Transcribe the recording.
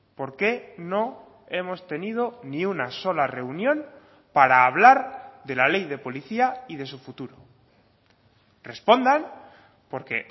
por qué no hemos tenido ni una sola reunión para hablar de la ley de policía y de su futuro respondan porque